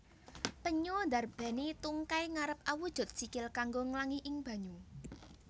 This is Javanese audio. Penyu ndarbèni tungkai ngarep awujud sikil kanggo nglangi ing banyu